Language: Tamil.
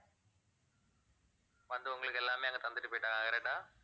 வந்து உங்களுக்கு எல்லாமே அங்க தந்துட்டு போயிட்டாங்க correct ஆ